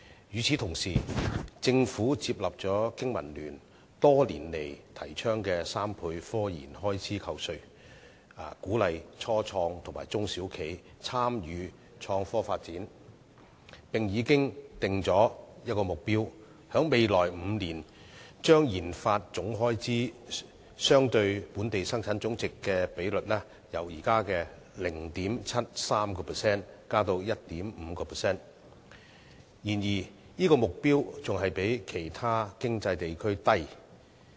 與此同時，政府接納了香港經濟民生聯盟多年來提倡的3倍科研開支扣稅，鼓勵初創及中小企參與創科發展，並且訂下目標，在未來5年將研發總開支相對本地生產總值的比率由現時的 0.73% 提高至 1.5%， 但這個目標仍然比其他經濟地區為低。